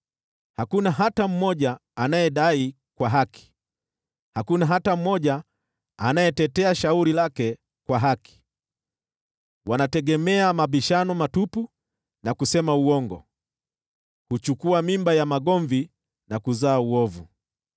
Hakuna hata mmoja anayedai kwa haki; hakuna hata mmoja anayetetea shauri lake kwa haki. Wanategemea mabishano matupu na kusema uongo, huchukua mimba ya magomvi na kuzaa uovu.